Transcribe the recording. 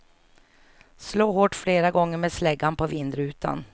Slå hårt flera gånger med släggan på vindrutan.